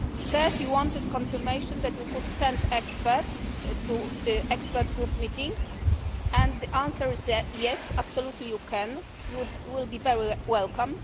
Third, you wanted confirmation that you could send experts to an expert group meeting, and the answer is yes, absolutely you can you will be very welcome.